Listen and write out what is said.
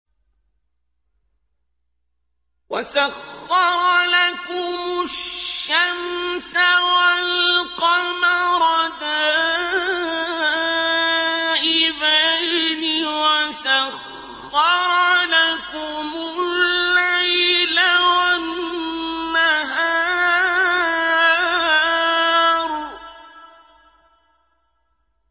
وَسَخَّرَ لَكُمُ الشَّمْسَ وَالْقَمَرَ دَائِبَيْنِ ۖ وَسَخَّرَ لَكُمُ اللَّيْلَ وَالنَّهَارَ